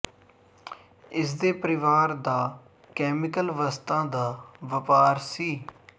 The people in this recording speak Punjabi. ਇਸ ਦੇ ਪਰਿਵਾਰ ਦਾ ਕੈਮੀਕਲ ਵਸਤਾਂ ਦਾ ਵਪਾਰ ਸੀ